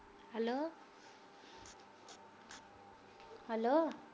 hello